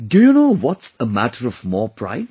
Do you know what's a matter of more pride